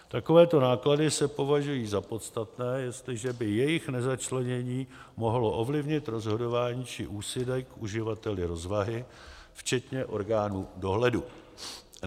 Takovéto náklady se považují za podstatné, jestliže by jejich nezačlenění mohlo ovlivnit rozhodování či úsudek uživatelů rozvahy, včetně orgánů dohledu.